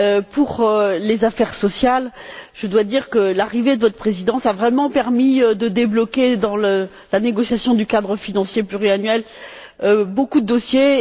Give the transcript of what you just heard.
Pour les affaires sociales, je dois dire que l'arrivée de votre Présidence a vraiment permis de débloquer, dans la négociation du cadre financier pluriannuel, beaucoup de dossiers.